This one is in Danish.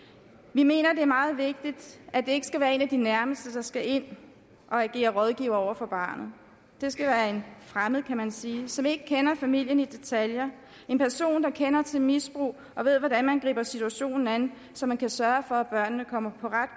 vi mener at det er meget vigtigt at det ikke skal være en af de nærmeste der skal ind og agere rådgiver over for barnet det skal være en fremmed kan man sige som ikke kender familien i detaljer en person der kender til misbrug og ved hvordan man griber situationen an så man kan sørge for at børnene kommer på ret